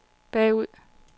bagud